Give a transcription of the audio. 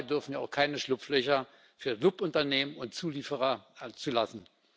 Dabei dürfen wir auch keine Schlupflöcher für Subunternehmen und Zulieferer zulassen.